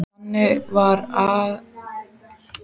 Þannig var akfært milli reitanna sem skurðirnir afmörkuðu.